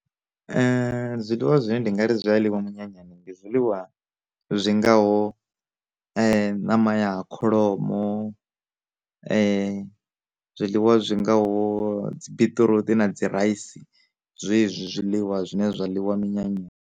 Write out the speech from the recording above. Zwiḽiwa zwine ndi nga ri zwiḽiwa minyanyani, ndi zwiḽiwa zwi ngaho ṋama ya kholomo, zwiḽiwa zwi ngaho dzi biṱiruṱi na dzi raisi, zwezwi zwiḽiwa zwine zwa ḽiwa minyanyani.